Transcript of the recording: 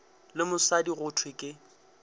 le mosadi go thwe ke